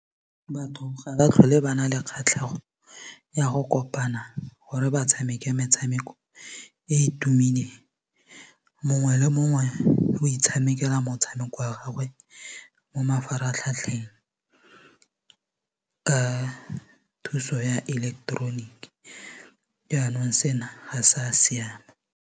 Batho ga ba tlhole ba na le kgatlhego ya go kopana gore ba tshameke metshameko e tumileng mongwe le mongwe o itshamekela motshameko wa gagwe mo mafaratlhatlheng thuso ya ileketeroniki yanong sena ha sa siama.